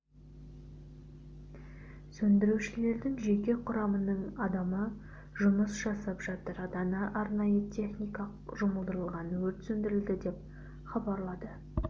сөндірушілердің жеке құрамының адамы жұмыс жасап жатыр дана арнайы техника жұмылдырылған өрт сөндірілді деп хабарлады